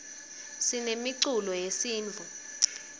sinemiculo yesintfu